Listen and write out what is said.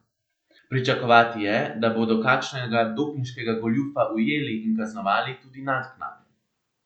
Pričakovati je, da bodo kakšnega dopinškega goljufa ujeli in kaznovali tudi naknadno.